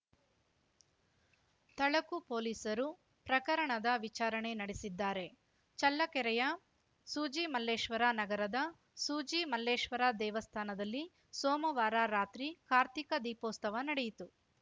ತಳಕು ಪೊಲೀಸರು ಪ್ರಕರಣದ ವಿಚಾರಣೆ ನಡೆಸಿದ್ದಾರೆ ಚಳ್ಳಕೆರೆಯ ಸೂಜಿಮಲ್ಲೇಶ್ವರ ನಗರದ ಸೂಜಿಮಲ್ಲೇಶ್ವರ ದೇವಸ್ಥಾನದಲ್ಲಿ ಸೋಮವಾರ ರಾತ್ರಿ ಕಾರ್ತಿಕ ದೀಪೋಸ್ತವ ನಡೆಯಿತು